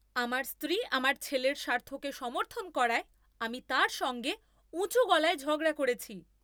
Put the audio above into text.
আমার স্ত্রী আমাদের ছেলের স্বার্থকে সমর্থন করায় আমি তার সঙ্গে উঁচু গলায় ঝগড়া করেছি!